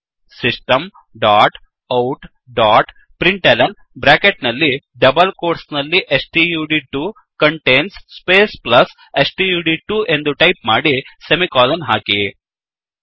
system dot out ಡಾಟ್println bracket ನಲ್ಲಿ double quotes ನಲ್ಲಿ stud two contains space plus stud two ಎಂದು ಟೈಪ್ ಮಾಡಿ ಸೆಮಿಕೋಲನ್ ಹಾಕಿ